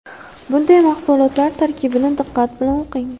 Bunday mahsulotlar tarkibini diqqat bilan o‘qing.